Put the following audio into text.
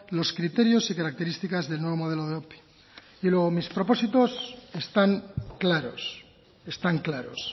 los criterios y características del nuevo modelo de ope y luego mis propósitos están claros están claros